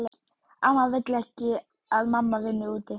Amma vill ekki að mamma vinni úti.